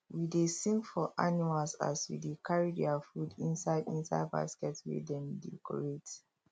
we dey sing for animals as we dey carry their food inside inside basket wey dem decorate